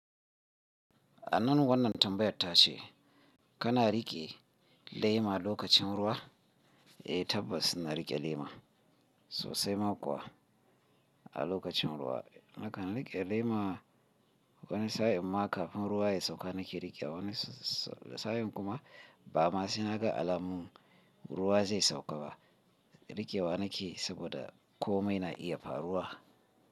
Anan wannan tambayar ta ce kana riƙe lema lokacin ruwa a tabbas ina riƙe lema sosai ma kuwa a lokacin ruwa. Nakan riƙe lema wani sa'in ma kafin ruwa ya sauka nake riƙewa, wani sa'in kuma ba ma saina ga alamun ruwa zai sauka ba riƙewa nake saboda komai na iya faruwa.